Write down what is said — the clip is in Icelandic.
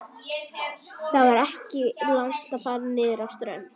Það var ekki langt að fara niður á strönd.